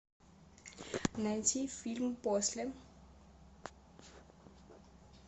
найти фильм после